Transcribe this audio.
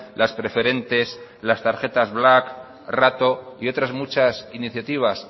las preferentes las tarjetas black rato y otras muchas iniciativas